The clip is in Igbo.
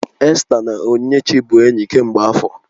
Esta na Onyinyechi bụ enyi kemgbe afọ